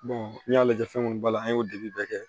n'i y'a lajɛ fɛn munnu b'a la an y'o dege bɛɛ kɛ